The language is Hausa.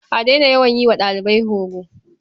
A daina yawan yi wa ɗalibai horo.